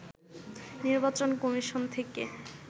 নির্বাচন কমিশন থেকে